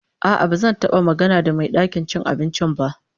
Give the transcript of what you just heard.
A'a, ba zan taba magana da mai gidan cin abincin ba.